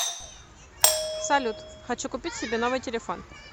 салют хочу купить себе новый телефон